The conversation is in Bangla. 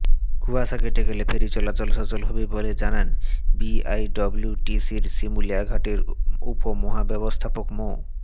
কুয়াশা কেটে গেলে ফেরি চলাচল সচল হবে বলে জানান বিআইডব্লিউটিসির শিমুলিয়া ঘাটের উপমহাব্যবস্থাপক মো